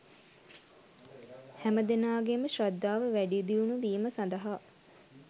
හැම දෙනාගේම ශ්‍රද්ධාව වැඩිදියුණු වීම සඳහා